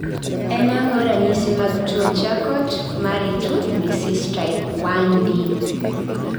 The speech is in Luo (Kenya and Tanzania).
En ango ranyisis mag tuo Charcot Marie Tooth disease type 1D?